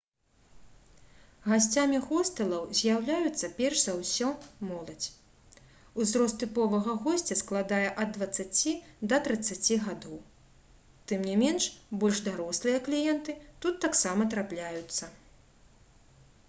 гасцямі хостэлаў з'яўляецца перш за ўсё моладзь узрост тыповага госця складае ад дваццаці да трыццаці гадоў тым не менш больш дарослыя кліенты тут таксама трапляюцца